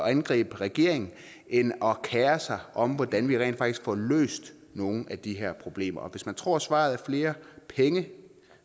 at angribe regeringen end at kere sig om hvordan vi rent faktisk får løst nogle af de her problemer hvis man tror svaret er flere penge